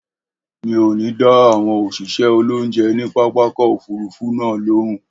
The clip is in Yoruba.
Mi ò ní dá àwọn òṣìṣẹ́ olónjẹ ní pápákọ̀ òfurufú náà lóùn